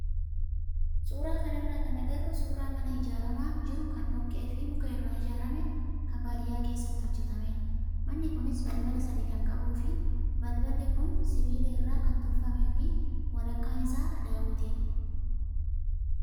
Suuraa kanarraa kan agarru suuraa mana ijaaramaa jiru kan dhoqqee fi muka irraa ijaarame kan baadiyyaa keessatti hojjatamedha. Manni kunis balbala sadii kan qabuu fi balballi kun sibiila irraa kan tolfamee fi walakkaan isaa daawwitiidha.